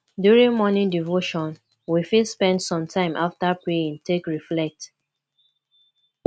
during morning devotion we fit spend some time after praying take reflect